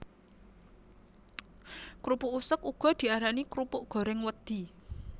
Krupuk useg uga diarani krupuk gorèng wedhi